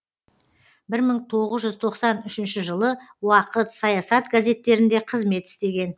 бір мың тоғыз жүз тоқсан үшінші жылы уақыт саясат газеттерінде қызмет істеген